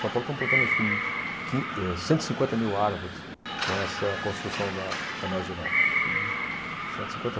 São Paulo estão plantando acho que quin, eh, cento e cinquenta mil árvores com essa construção da da Marginal. Entendi, Cento e cinquenta